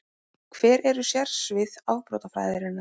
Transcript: Hver eru sérsvið afbrotafræðinnar?